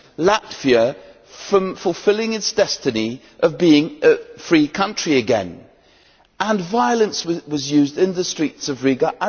Latvia from fulfilling its destiny of being a free country again, and violence was used on the streets of Riga.